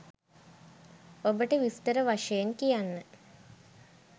ඔබට විස්තර වශයෙන් කියන්න